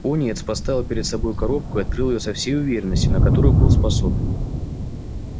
пониетс поставил перед собой коробку и открыл её со всей уверенностью на которую был способен